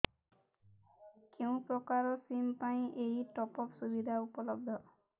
କେଉଁ ପ୍ରକାର ସିମ୍ ପାଇଁ ଏଇ ଟପ୍ଅପ୍ ସୁବିଧା ଉପଲବ୍ଧ